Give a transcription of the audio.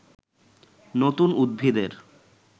নতুন উদ্ভিদের